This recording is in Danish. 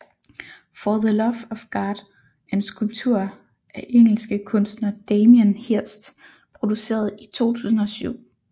For the Love of God er en skulptur af engelske kunstner Damien Hirst produceret i 2007